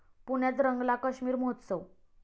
पुण्यात रंगला काश्मीर महोत्सव